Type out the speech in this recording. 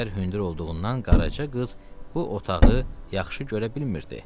Çəpər hündür olduğundan Qaraca qız bu otağı yaxşı görə bilmirdi.